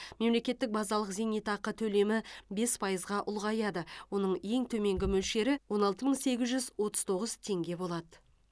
мемлекеттік базалық зейнетақы төлемі бес пайызға ұлғаяды оның ең төменгі мөлшері он алты мың сегіз жүз отыз тоғыз теңге болады